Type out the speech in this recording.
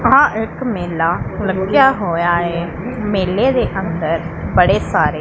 ਵਹਾਂ ਇੱਕ ਮੇਲਾ ਲੱਗਿਆ ਹੋਇਆ ਏ ਮੇਲੇ ਦੇ ਅੰਦਰ ਬੜੇ ਸਾਰੇ--